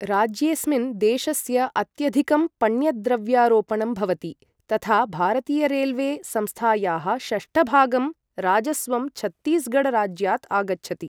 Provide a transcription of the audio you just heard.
राज्येस्मिन् देशस्य अत्यधिकं पण्यद्रव्यारोपणं भवति, तथा भारतीयरेल्वे संस्थायाः षष्ठभागं राजस्वं छत्तीसगढ राज्यात् आगच्छति।